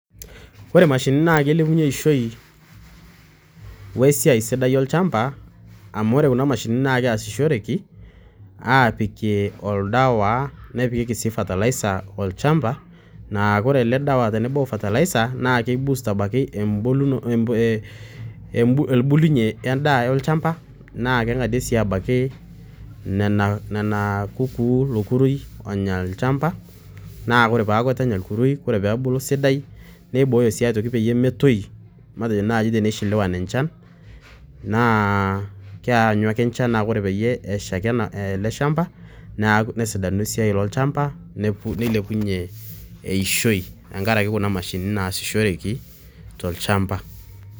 Ore imashinini naa keilepunye eishoi wesiai sidai olchamba amu ore kuna mashinini naa keasishoreki apikie oldawa, nepikieki sii fertilizer olchamba, naa kore ele dawa tenebo fertilizer naa keiboost abaiki embu embu embulunye endaa olchamba, naa keng'adie sii abaiki lelo kukuu, ilo kurui onya olchamba naa ore peaku eitu enya olkurui, nebulu sidai, neibooyo sii pee metoi matejo naai teneshelewan enchan, naa keanyu ake enchan, naa ore teneshaki ele shamba nesidanu esiai olchamba, nilepunyie eishoi tenkaraki kuna mashinini naasishoreki tolchamba.